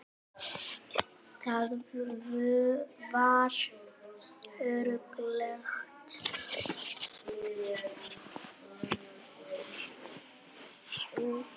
Það var öruggt.